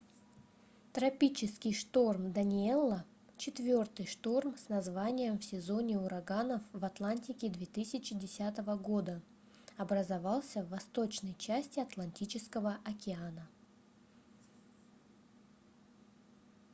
тропический шторм даниэлла четвёртый шторм с названием в сезоне ураганов в атлантике 2010 года образовался в восточной части атлантического океана